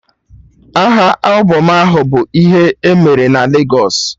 Aha albọm ahụ bụ "ihe emere na Legos"